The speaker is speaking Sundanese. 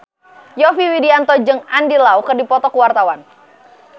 Yovie Widianto jeung Andy Lau keur dipoto ku wartawan